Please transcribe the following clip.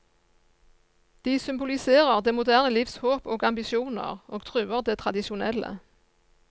De symboliserer det moderne livs håp og ambisjoner, og truer det tradisjonelle.